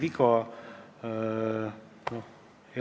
Aga selle eelmise teemaga siin tegelikult midagi ühist ei ole.